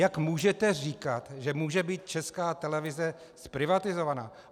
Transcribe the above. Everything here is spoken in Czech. Jak můžete říkat, že může být Česká televize zprivatizována?